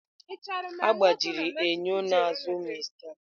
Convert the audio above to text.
Egbajiri enyo n'azụ Mr Peter.